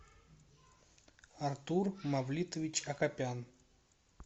артур мавлитович акопян